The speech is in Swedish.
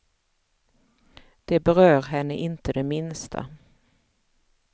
Det berör henne inte det minsta.